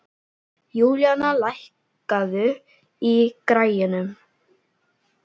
Júlíana, lækkaðu í græjunum.